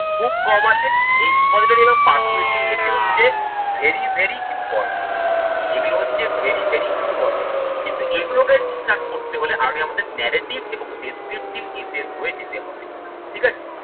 খুব কম আসে expository এবং persuasive essay হচ্ছে very very important এগুলো হচ্ছে very very important কিন্তু এগুলোকে ঠিকঠাক করতে হলে আগে আমাদের narrative এবং descriptive essay হয়ে যেতে হবে ঠিক আছে।